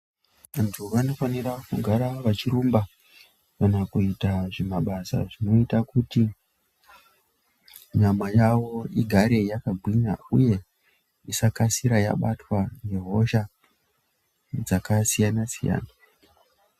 Vantu vanofanira kugara vachirumba kana kuita zvimabasa zvinoita kuti nyama yavo igare yakagwinya uye isakasira yabatwa ngehosha dzakasiyana-siyana.